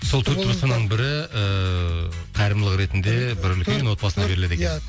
сол төрт баспананың бірі ііі қайырымдылық ретінде бір үлкен отбасына беріледі екен